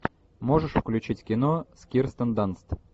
можешь включить кино с кирстен данст